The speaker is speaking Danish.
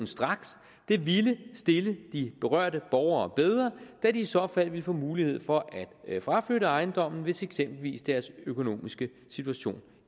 straks det ville stille de berørte borgere bedre da de i så fald ville få mulighed for at fraflytte ejendommen hvis eksempelvis deres økonomiske situation